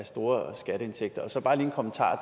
store skatteindtægter så bare lige en kommentar